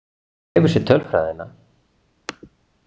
Þú hefur séð tölfræðina.